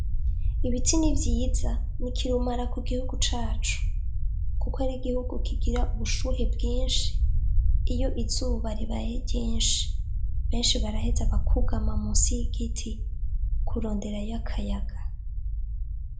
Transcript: Ibiti ni vyiza, ni kirumara ku gihugu cacu kuko ni gihugu kigira ubushuhe bwinshi iyo izuba ribaye ryinshi. Benshi baraheza bakugama musi y'igiti kuronderayo akayaga.